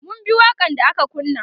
mun bi waƙan da aka kunna